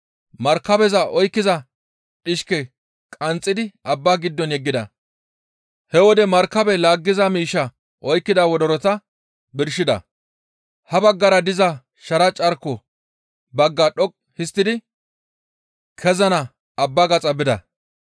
Markabeza oykkiza dhishke qanxxidi abba giddo yeggida; he wode markabe laggeza miishshaa oykkida wodorota birshida. Ha baggara diza sharaa carko bagga dhoqqu histtidi kezana abba gaxa bida.